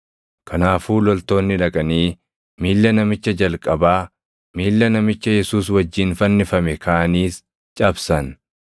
Kanaafuu loltoonni dhaqanii miilla namicha jalqabaa, miilla namicha Yesuus wajjin fannifame kaaniis cabsan.